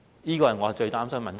這是我最擔心的問題。